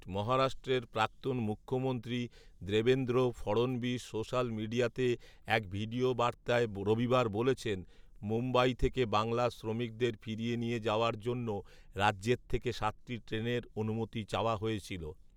মহারাষ্ট্রের প্রাক্তন মুখ্যমন্ত্রী দেবেন্দ্র ফড়ণবিস সোশ্যাল মিডিয়াতে এক ভিডিও বার্তায় রবিবার বলেছেন, মুম্বই থেকে বাংলার শ্রমিকদের ফিরিয়ে নিয়ে যাওয়ার জন্য রাজ্যের থেকে সাতটি ট্রেনের অনুমতি চাওয়া হয়েছিল